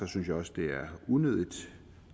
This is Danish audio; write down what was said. synes jeg også det er unødig